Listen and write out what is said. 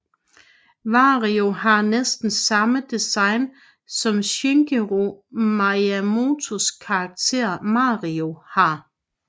Wario har næsten samme design som Shigeru Miyamotos karakter Mario har